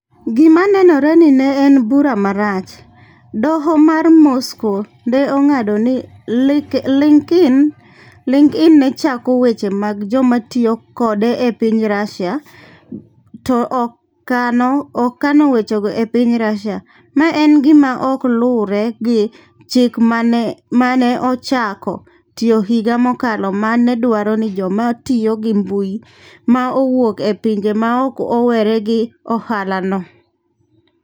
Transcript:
E gima nenore ni ne en bura marach, Doho mar Moscow ne ong'ado ni LinkedIn ne choko weche mag joma tiyo kode e piny Russia to ok kano wechego e piny Russia - ma en gima ok luwre gi chik ma ne ochako tiyo higa mokalo ma ne dwaro ni joma tiyo gi mbui ma wuok e pinje maoko owere gi ohalano.